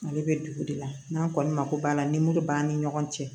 Ale bɛ dugu de la n'an kɔni mako b'a la ni muru b'an ni ɲɔgɔn cɛ